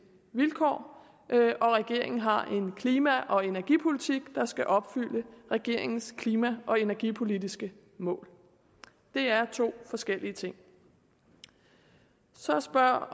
vilkår og regeringen har en klima og energipolitik der skal opfylde regeringens klima og energipolitiske mål det er to forskellige ting så spørger